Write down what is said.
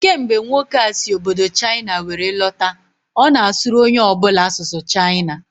Kemgbe nwoke a si obodo Chaịna were lọta, ọ na asụrụ onye ọ bụla asụsụ Chaịna